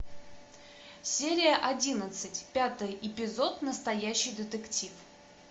серия одиннадцать пятый эпизод настоящий детектив